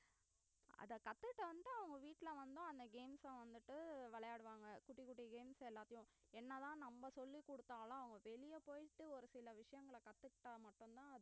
அத கத்துக்கிட்டு வந்து அவங்க வீட்டுல வந்து அந்த games அ வந்துட்டு விளையாடுவாங்க குட்டி குட்டி games எல்லாத்தையும் என்னதான் நம்ம சொல்லிக் கொடுத்தாலும் அவங்க வெளிய போயிட்டு ஒரு சில விஷயங்களை கத்துக்கிட்டா மட்டும்தான்